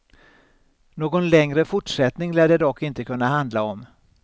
Någon längre fortsättning lär det dock inte kunna handla om.